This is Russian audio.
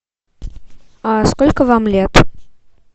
а сколько вам лет